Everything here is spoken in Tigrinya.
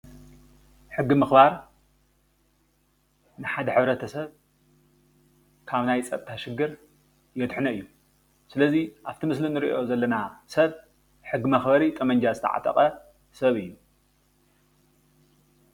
ሕጊ ምኽባር ንሓደ ሕብረተሰብ ካብ ናይ ፀጥታ ሽግር የድሕኖ እዩ። ስለዙይ ኣብቲ ምስሊ እንሪኦ ዘለና ሰብ ሕጊ መኽበሪ ጠበንጃ ዝተዓጠቐ ሰብ እዩ።